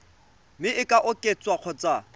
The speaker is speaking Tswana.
mme e ka oketswa kgotsa